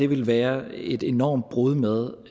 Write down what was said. ville være et enormt brud med